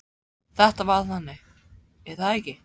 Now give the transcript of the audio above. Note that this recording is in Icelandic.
Þetta var þannig, er það ekki?